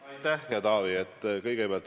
Aitäh, hea Taavi!